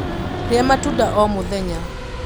Ría matunda o múthenya.